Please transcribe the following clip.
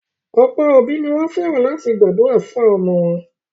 Ọ̀pọ̀ òbí ni wọ́n fẹ́ràn láti máa gbàdúrà fún àwọn ọmọ wọn.